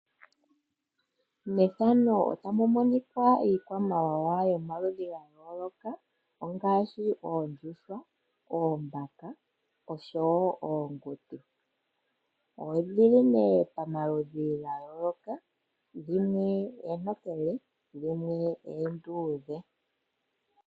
Methano otamumonikwa iikwamawawa yomaludhi gaayoloka ongaashi oondjuhwa, oombaka, oshowo oonguti. Odhili nee pamaludhi gayooloka dhimwe eentokele, dhimwe enduudhe.